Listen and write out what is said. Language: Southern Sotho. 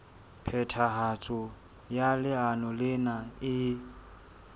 phethahatso ya leano lena e